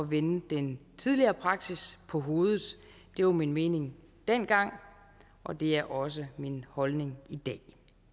vende den tidligere praksis på hovedet det var min mening dengang og det er også min holdning i dag